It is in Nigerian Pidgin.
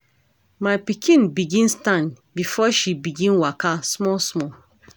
My pikin begin stand before she begin waka small small.